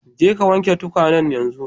Je ka wanke tukwanen yanzu!